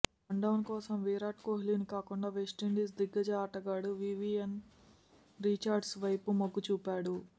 one town కోసం విరాట్ కోహ్లీని కాకుండా వెస్టిండీస్ దిగ్గజ ఆటగాడు వీవీఎన్ రిచర్డ్స్ వైపు మొగ్గు చూపాడు